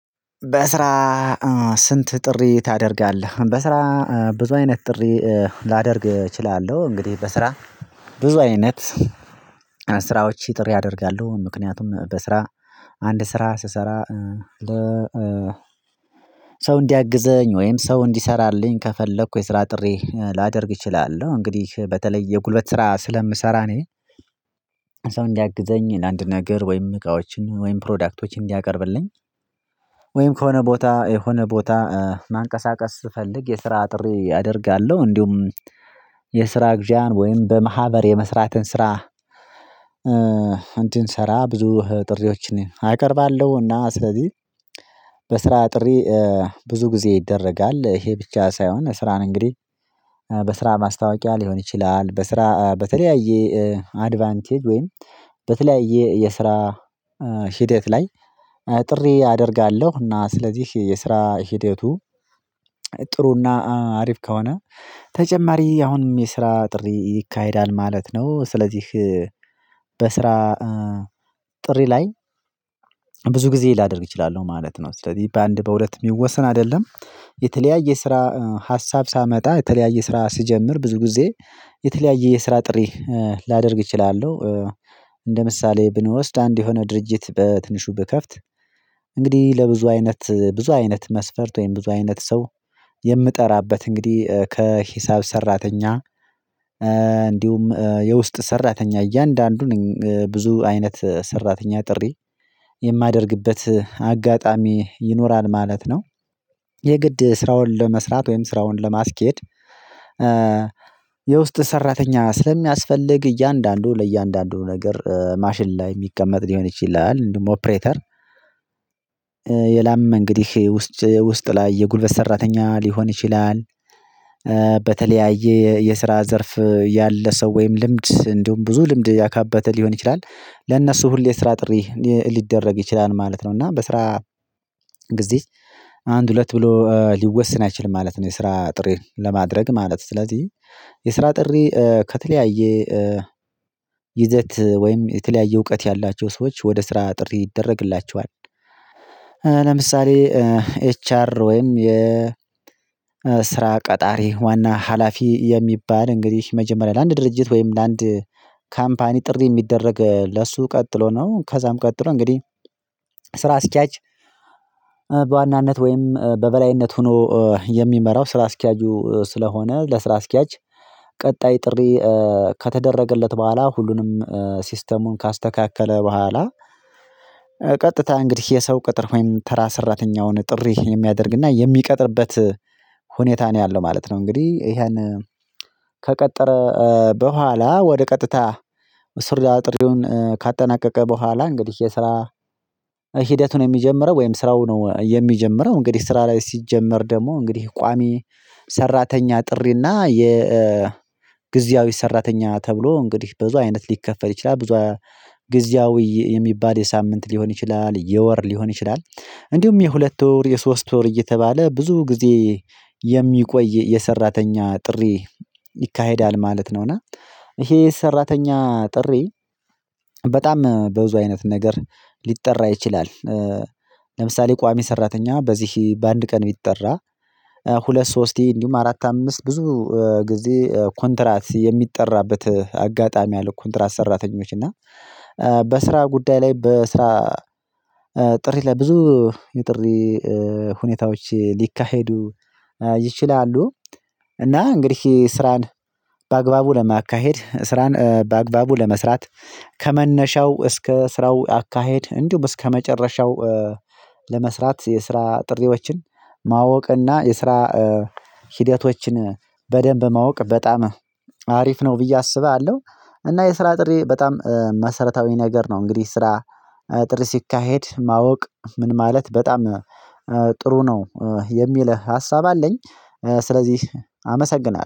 በስራ ስንት ጥሪ ታደርጋለህ? በስራ ብዙ አይነት ጥሪ ላደርግ እችላለሁ። እንግዲህ በስራ ብዙ አይነት ስራዎች ጥሪ ያደርጋሉ ምክንያቱም በስራ አንድ ስራ ስሰራ ለ ሰው እንዲያግዘኝ ወይም ሰው እንዲሰራልኝ ከፈለኩ የስራ ጥሬ ላደርግ እችላለሁ። እንግዲህ በተለይ የጉልበት ስራ ስለምሰራ እኔ እንዲያግዘኝ አንድ ነገር ወይም እቃዎችን ወይም ፕሮዳክቶችን እንዲያቀርብልኝ ወይም ከሆነ ቦታ የሆነ ቦታ ማንቀሳቀስ ስፈልግ የስራ ጥሪ አደርጋለሁ እንዲሁም የስራ እገዛን ወይም በማህበር የመስራትን ስራ እንድንሰራ ብዙ ጥሪዎችን አቀርባለሁ። እና ስለዚህ በስራ ጥሪ ብዙ ጊዜ ይደረጋል ይሄ ብቻ ሳይሆን ስራን እንግዲህ በስራ ማስታወቂያ ሊሆን ይችላል። በስራ በተለያየ አድቫንቴጅ ወይም በተለያየ የስራ ሂደት ላይ ጥሪ አደርጋለሁ እና ስለዚህ የስራ ህደቱ ጥሩና አሪፍ ከሆነ ተጨማሪ አሁንም የስራ ጥሪ ይካሄዳል ማለት ነው ስለዚህ በስራ ጥሪ ላይ ብዙ ጊዜ ላደርግ እችላለሁ ማለት ነው። ስለዚህ በአንድ በሁለት የሚወሰን አይደለም የተለያየ ስራ ሀሳብ ሳመጣ የተለያየ ስራ ስጀምር ብዙ ጊዜ የተለያየ የስራ ጥሪ ላደርግ እችላለሁ። ምሳሌ ብንወስድ አንድ የሆነ ድርጅት በትንሹ ብከፍት እንግዲህ ለብዙ አይነት ብዙ አይነት መስፈርት ወይም ብዙ አይነት ሰው የምጠራበት እንግዲህ ከሂሳብ ሰራተኛ እንዲሁም የውስጥ ሰራተኛ እያንዳንዱ ብዙ አይነት ሰራተኛ ጥሪ የማደርግበት አጋጣሚ ይኖራል ማለት ነው። የግድ ስራውን ለመስራት ወይም ስራውን ለማስኬድ የውስጥ ሰራተኛ ስለሚያስፈልግ እያንዳንዱ ለእያንዳንዱ ነገር ማሽን ላይ የሚቀመጥ ሊሆን ይችላል ደግሞ ኦፕሬተር ሌላም እንግዲህ ውስጥ ላይ የጉልበት ሰራተኛ ሊሆን ይችላል። በተለያየ የስራ ዘርፍ ያለ ሰው ወይም ልምድ እንዲሁም ብዙ ልምድ ያካበተ ሊሆን ይችላል ለእነሱ ሁሌ ስራ ጥሪ ሊደረግ ይችላል ማለት ነው። እና በስራ ጊዜ አንድ ሁለት ብሎ ሊወሰን አይችልም ማለት ነው የስራ ጥሬ ለማድረግ ማለት ነው። ስለዚህ የስራ ጥሪ ከተለያየ ይዘት ወይም የተለያየ እውቀት ያላቸው ሰዎች ወደ ስራ ጥሪ ይደረግላቸዋል። ለምሳሌ ኤች አር ወይም የስራ ቀጣሪ ዋና ሀላፊ የሚባል እንግዲህ መጀመሪያ ለአንድ ድርጅት ወይም ለአንድ ካምፓኒ ጥሪ የሚደረግ ለሱ ቀጥሎ ነው ከዚያም ቀጥሎ እንግዲህ ስራ አስኪያጅ በዋናነት ወይም በበላይነት ሆኖ የሚመራው ስራ አስኪያጁ ስለሆነ ለስራ አስኪያጅ ቀጣይ ጥሪ ከተደረገለት በኋላ ሁሉንም ሲስተሙን ካስተካከለ በኋላ ቀጥታ እንግዲህ የሰው ቅጥር ወይም ተራ ሰራተኛውን ጥሪ የሚያደርግና የሚቀጥርበት ሁኔታ ነው ያለው ማለት ነው። እንግዲህ ይሄን ከቀጠረ በኋላ ወደ ቀጥታ ምስር ጥሪውን ካጠናቀቀ በኋላ እንግዲህ የስራ ሂደቱን የሚጀምረው ወይም ስራው ነው የሚጀምረው እንግዲህ ስራ ላይ ሲጀመር ደግሞ እንግዲህ ቋሚ ሰራተኛ ጥሪና የጊዜያዊ ሰራተኛ ተብሎ እንግዲህ ብዙ አይነት ሊከፈል ይችላል ብዙ ብዙ ጊዜያዊ የሚባል የሳምንት ሊሆን ይችላል የወር ሊሆን ይችላል እንዲሁም የሁለት ወር የሶስት ወር እየተባለ ብዙ ጊዜ የሚቆይ የሰራተኛ ጥሪ ይካሄዳል ማለት ነው። እና ይሄ ሰራተኛ ጥሪ በጣም በብዙ አይነት ነገር ሊጠራ ይችላል። ለምሳሌ ቋሚ ሰራተኛ በዚህ በአንድ ቀን ቢጠራ ሁለት ሶስት እንዲሁም አራት አምስት ብዙ ጊዜ ኮንትራት የሚጠራበት አጋጣሚ አለ። ኮንትራት ሰራተኞች እና በስራ ጉዳይ ላይ በስራ ጥሪ ላይ ብዙ የጥሪ ሁኔታዎች ሊካሄዱ ይችላሉ። እና እንግዲህ ስራን በአግባቡ ለማካሄድ ስራን በአግባቡ ለመስራት ከመነሻው እስከ ስራው አካሄድ እንዲሁም እስከመጨረሻው ለመስራት የስራ ጥሪዎችን ማወቅና የስራ ሂደቶችን በደንብ ማወቅ በጣም አሪፍ ነው ብዬ አስባለሁ። እና የስራ ጥሪ በጣም መሰራታዊ ነገር ነው እንግዲህ ስራ ጥሪ ሲካሄድ ማወቅ ምን ማለት በጣም ጥሩ ነው የሚል ሀሳብ አለኝ። ስለዚህ አመሰግናለሁ